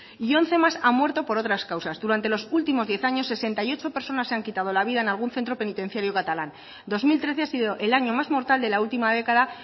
y once más han muerto por otras causas durante los últimos diez años sesenta y ocho personas se han quitado la vida en algún centro penitenciario catalán dos mil trece ha sido el año más mortal de la última década